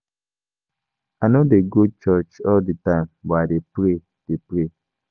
I no dey go church all the time but I dey pray. dey pray.